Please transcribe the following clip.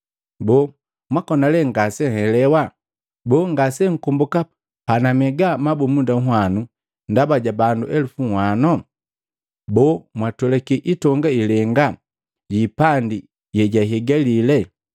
Boo, mwakona lee ngasenhelewe? Boo, ngase nkomboka panamega mabumunda nhwanu ndaba ja bandu elupu nhwano? Boo, mwatwelaki itonga ilenga yiipandi yeyaihigali?